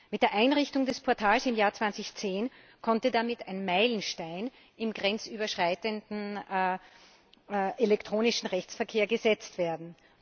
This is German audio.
Mit der Einrichtung des Portals im Jahr 2010 konnte damit ein Meilenstein im grenzüberschreitenden elektronischen Rechtsverkehr gesetzt werden.